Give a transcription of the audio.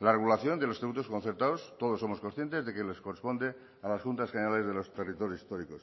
la regulación de los tributos concertados todos somos conscientes de que les corresponde a las juntas generales de los territorios históricos